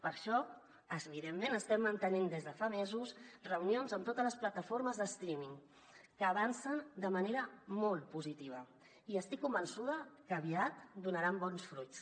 per això evidentment estem mantenint des de fa mesos reunions amb totes les plataformes de streaming que avancen de manera molt positiva i estic convençuda que aviat donaran bons fruits